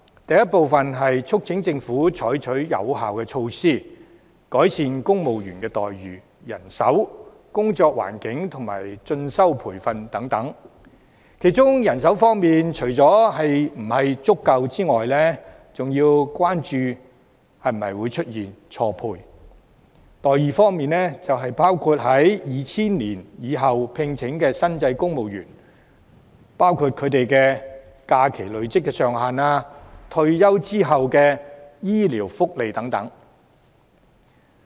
第一部分，是促請政府採取有效措施，改善公務員待遇、人手、工作環境及進修培訓等。其中，就人手方面，除了人手是否足夠這問題外，還要關注會否出現錯配。待遇方面，則是關於在2000年後聘請的新制公務員，他們在假期累積上限、退休後的醫療福利等問題。